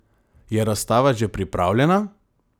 Je razstava že pripravljena?